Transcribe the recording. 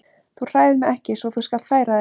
Þú hræðir mig ekki svo þú skalt færa þig.